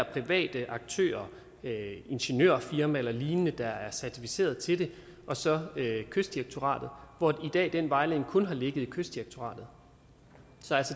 private aktører ingeniørfirmaer eller lignende der er certificeret til det og så kystdirektoratet hvor den vejledning kun ligger i kystdirektoratet så